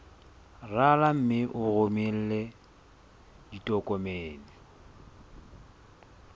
rala mme o romele ditokomene